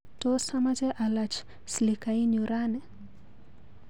Tos amache alach slikainyu rani?